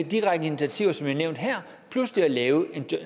direkte initiativer som jeg har nævnt her plus ved at lave en